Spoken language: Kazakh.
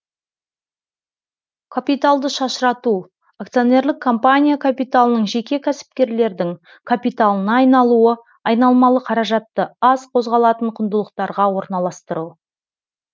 капиталды шашырату акционерлік компания капиталының жеке кәсіпкерлердің капиталына айналуы айналмалы қаражатты аз қозғалатын құндылықтарға орналастыру